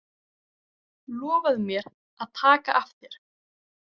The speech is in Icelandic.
Lofaðu mér að taka af þér.